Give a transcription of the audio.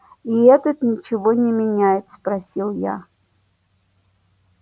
и этот ничего не меняет спросил я